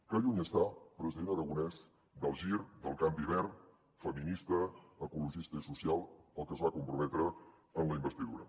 que lluny està president aragonès del gir del canvi verd feminista ecologista i social al que es va comprometre en la investidura